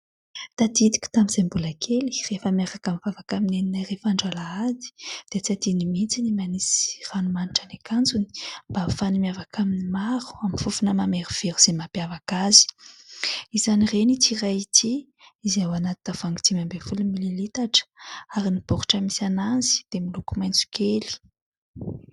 Tadidiko tamin'izay mbola kely rehefa miaraka mivavaka amin'i Neninay rehefa andro Alahady, dia tsy adinony mihintsy ny manisy ranomanitra ny akanjony mba ahafahany miavaka amin'ny maro, amin'ny fofona mamerovero izay mampiavaka azy. Izany reny ity iray ity, izay ao anaty tavoahangy dimy ambin'ny folo mililitatra ary ny baoritra misy anazy dia miloko maitso kely.